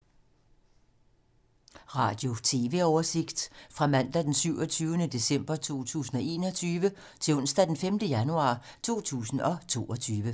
Radio/TV oversigt fra mandag d. 27. december 2021 til onsdag d. 5. januar 2022